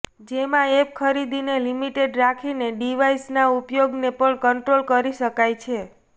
જેમાં એપ ખરીદીને લિમિટેડ રાખીને ડિવાઈસના ઉપયોગને પણ કન્ટ્રોલ કરી શકાય છે